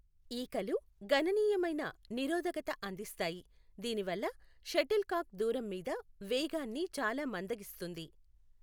ఈకలు గణనీయమైన నిరోధకత అందిస్తాయి, దీనివల్ల షటిల్ కాక్ దూరం మీద వేగాన్ని చాలా మందగిస్తుంది.